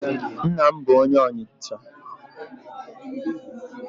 Nna m bụ onye Ọnịcha.